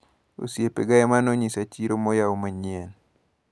Osiepega emanonyisa chiro moyau manyien.